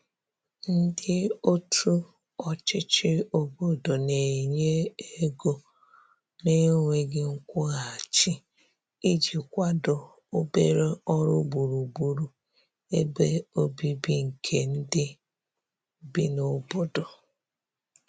ndi otu ochichi obodo n'enye ego na nweghi nkwuhachi iji kwado obere ọrụ gburugburu ebe ọbìbi nke ndi bi n'obodo